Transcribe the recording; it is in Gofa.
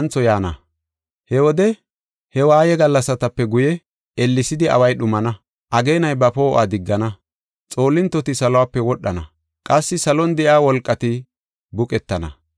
“He wode he waaye gallasatape guye, ellesidi away dhumana, ageenay ba poo7uwa diggana. Xoolintoti salope wodhana, qassi salon de7iya wolqati buqettana.